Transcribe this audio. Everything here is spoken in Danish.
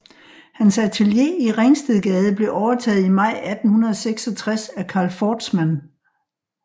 Hans atelier i Ringstedgade blev overtaget i maj 1866 af Carl Fordsmand